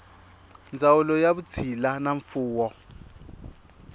ndzawulo ya vutshila na mfuwo